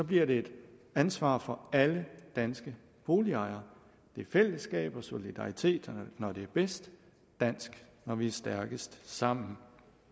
bliver det et ansvar for alle danske boligejere det er fællesskab og solidaritet når det er bedst dansk når vi er stærkest sammen